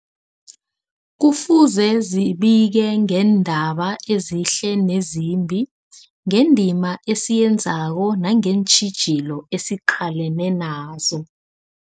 Kufuze zibike ngeendaba ezihle nezimbi, ngendima esiyenzako nangeentjhijilo esiqalene nazo.